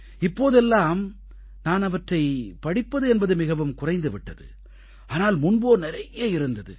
இப்போதெல்லாம் நான் இவற்றைப் படிப்பது என்பது மிகவும் குறைந்து விட்டது ஆனால் முன்போ நிறைய இருந்தது